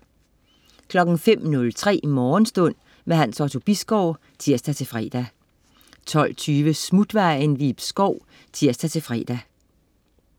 05.03 Morgenstund. Hans Otto Bisgaard (tirs-fre) 12.20 Smutvejen. Ib Schou (tirs-fre)